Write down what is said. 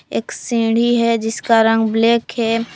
एक सीढ़ी है जिसका रंग ब्लैक है।